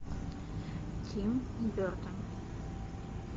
тим бертон